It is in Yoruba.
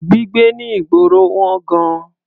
Gbígbé ní ìgboro wọ́n gan-an.